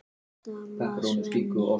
stamaði Svenni.